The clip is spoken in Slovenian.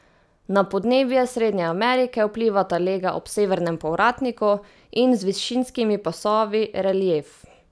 Na podnebje Srednje Amerike vplivata lega ob severnem povratniku in z višinskimi pasovi relief.